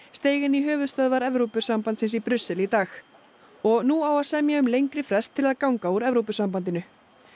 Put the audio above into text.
steig inn í höfuðstöðvar Evrópusambandsins í Brussel í dag og nú á að semja um lengri frest til að ganga úr Evrópusambandinu